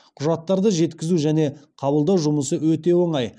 құжаттарды жеткізу және қабылдау жұмысы өте оңай